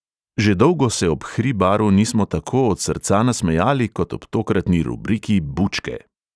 Že dolgo se ob hribaru nismo tako od srca nasmejali, kot ob tokratni rubriki bučke.